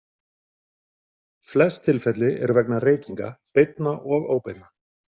Flest tilfelli eru vegna reykinga, beinna og óbeinna.